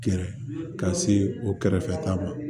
Gɛrɛ ka se o kɛrɛfɛta ma